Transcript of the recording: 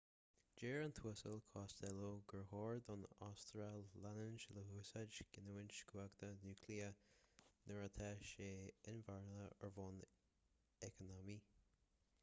deir an tuasal costello gur chóir don astráil leanúint le húsáid giniúint cumhachta núicléiche nuair atá sé inmharthana ar bhonn eacnamaíoch